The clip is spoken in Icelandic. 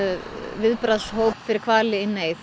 viðbragðshóp fyrir hvali